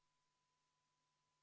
Palun võtta seisukoht ja hääletada!